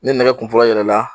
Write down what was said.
Ni nɛgɛ kun fɔlɔ yɛlɛ na